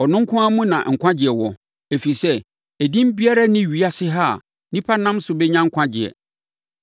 Ɔno nko ara mu na nkwagyeɛ wɔ; ɛfiri sɛ, edin biara nni ewiase ha a nnipa nam so bɛnya nkwagyeɛ.”